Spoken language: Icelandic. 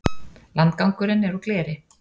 Landgangurinn er úr gleri.